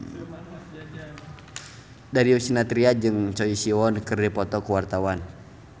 Darius Sinathrya jeung Choi Siwon keur dipoto ku wartawan